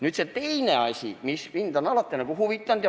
Nüüd, see teine asi, mis mind on alati huvitanud.